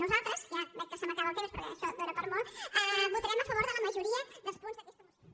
nosaltres ja veig que se m’acaba el temps perquè això dóna per a molt votarem a favor de la majoria dels punts d’aquesta moció